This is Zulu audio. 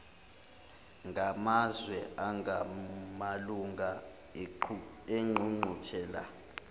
ngamazwe angamalunga engqungquthela